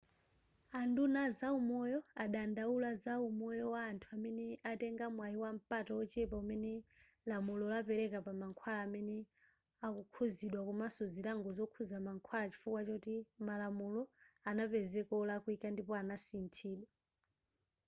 a nduna a zaumoyo adandaula za umoyo wa anthu amene atenga mwai wampata wochepa umene lamulo lapeleka pa mankhwala amene akukhuzidwa komanso zilango zokhuza mankhwala chifukwa choti malamulo anapezeka olakwika ndipo anasinthidwa